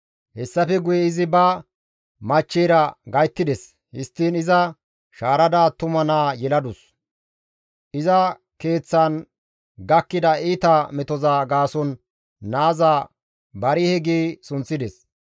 Hessafe guye izi ba machcheyra gayttides; histtiin iza shaarada attuma naa yeladus; iza keeththan gakkida iita metoza gaason naaza Barihe gi sunththides.